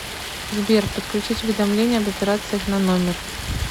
сбер подключить уведомление об операциях на номер